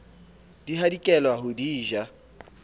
di hadikela ho di ja